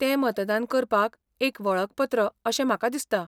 तें मतदान करपाक एक वळखपत्र अशें म्हाका दिसता.